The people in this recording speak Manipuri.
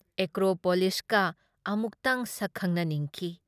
ꯑꯦꯀ꯭꯭ꯔꯣ ꯄꯣꯂꯤꯁꯀ ꯑꯃꯨꯛꯇꯪ ꯁꯛ ꯈꯪꯅꯅꯤꯡꯈꯤ ꯫